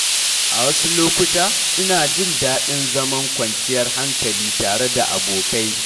A wasu lokuta, ina jin daɗin zaman kwanciyar hankali tare da abokai.